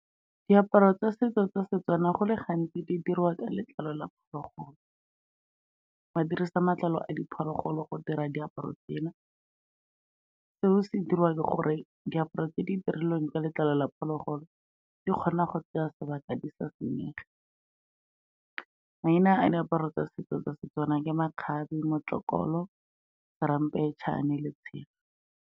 Diaparo tsa setso tsa Setswana, go le gantsi di dirwa ka letlalo la phologolo, ba dirisa matlalo a diphologolo go dira diaparo tsena, seo se diriwa ke gore diaparo tse di dirilweng ka letlalo la phologolo, di kgona go tsaya sebaka di sa senyege. Maina a diaparo tsa setso tsa Setswana ke makgabe, motsokgolo, ramphetšhane le tshelo.